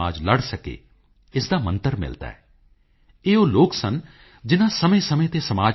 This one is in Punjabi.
ਕੁਝ ਦਿਨ ਪਹਿਲਾਂ ਮੈਂ ਅਹਿਮਦਾਬਾਦ ਵਿਖੇ ਸੀ ਜਿੱਥੇ ਮੈਨੂੰ ਡਾ